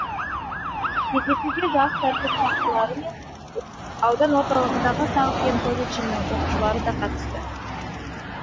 кездесуге жас тәртіп сақшылары мен аудан орталығындағы тау кен колледжінің оқушылары да қатысты